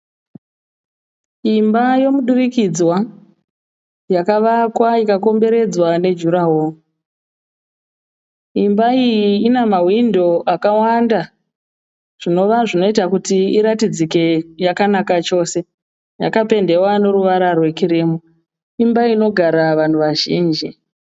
Imba yomudurikidzwa yakavakwa ikakomberedzwa nejuraworo. Imba iyi ina mahwindo akawanda zvinova zvinoita kuti iratidzike yakanaka chose. Yakapendewa neruvara rwekirimu. Imba inogara vanhu vazhinji.